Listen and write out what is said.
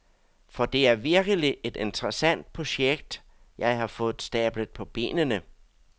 For det er virkelig et interessant projekt, jeg har fået stablet på benene.